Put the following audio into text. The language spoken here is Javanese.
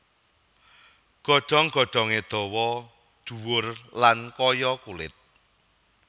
Godhong godhongé dawa dhuwur lan kaya kulit